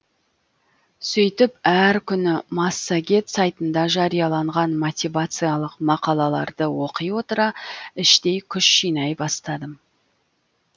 сөйтіп әр күні массагет сайтында жарияланған мотивациялық мақалаларды оқи отыра іштей күш жинай бастадым